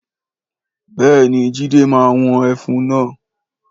Béèni Jídé ma wọn ẹfun náà